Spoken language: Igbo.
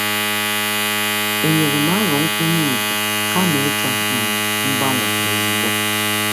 E nyerem aro nkwanye ùgwù kama ịchọ um mgbanwe ozugbo.